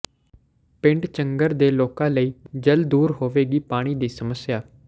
ਪਿੰਡ ਚੰਗਰ ਦੇ ਲੋਕਾਂ ਲਈ ਜਲਦ ਦੂਰ ਹੋਵੇਗੀ ਪਾਣੀ ਦੀ ਸਮੱਸਿਆ